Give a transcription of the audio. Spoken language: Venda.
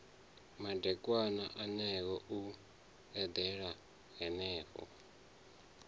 madekwana eneo u eḓela henefho